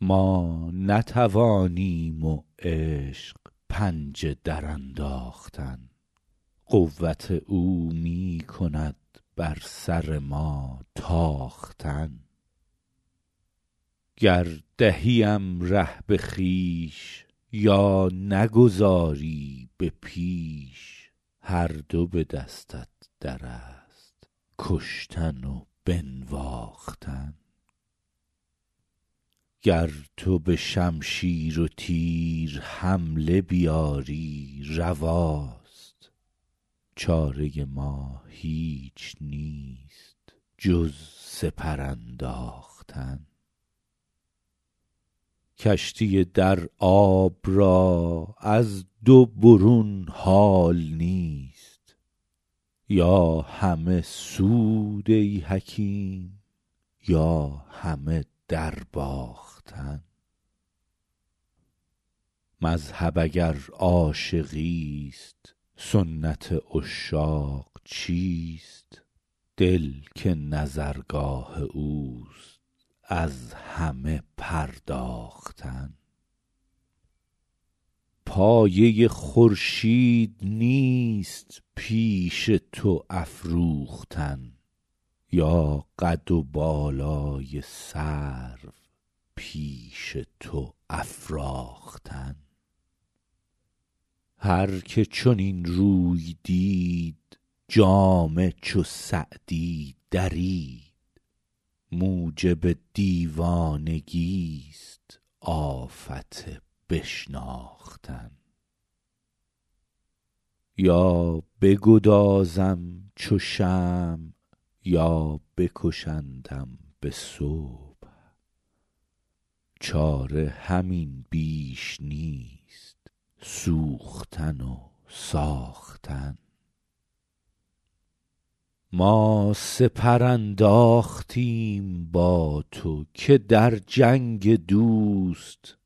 ما نتوانیم و عشق پنجه درانداختن قوت او می کند بر سر ما تاختن گر دهیم ره به خویش یا نگذاری به پیش هر دو به دستت در است کشتن و بنواختن گر تو به شمشیر و تیر حمله بیاری رواست چاره ما هیچ نیست جز سپر انداختن کشتی در آب را از دو برون حال نیست یا همه سود ای حکیم یا همه درباختن مذهب اگر عاشقیست سنت عشاق چیست دل که نظرگاه اوست از همه پرداختن پایه خورشید نیست پیش تو افروختن یا قد و بالای سرو پیش تو افراختن هر که چنین روی دید جامه چو سعدی درید موجب دیوانگیست آفت بشناختن یا بگدازم چو شمع یا بکشندم به صبح چاره همین بیش نیست سوختن و ساختن ما سپر انداختیم با تو که در جنگ دوست